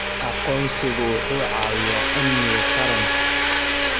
Aqoonsigu wuxuu caawiyaa amniga qaranka.